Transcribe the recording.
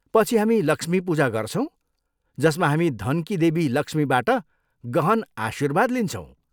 पछि हामी 'लक्ष्मी पूजा' गर्छौँ, जसमा हामी धनकी देवी लक्ष्मीबाट गहन आशीर्वाद लिन्छौँ।